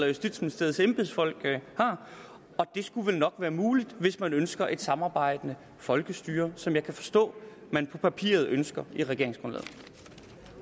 justitsministeriets embedsfolk har og det skulle vel nok være muligt hvis man ønsker et samarbejdende folkestyre som jeg kan forstå man på papiret ønsker